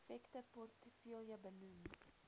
effekte portefeulje benoem